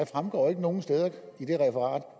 fremgår nogen steder